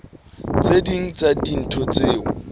tse ding tsa dintho tseo